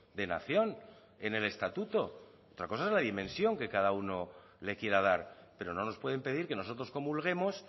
de nación en el estatuto otra cosa es la dimensión que cada uno le quiera dar pero no nos pueden pedir que nosotros comulguemos